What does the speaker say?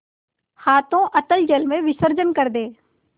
हाथों अतल जल में विसर्जन कर दे